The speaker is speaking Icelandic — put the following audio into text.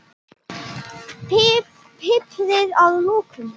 Piprið að lokum.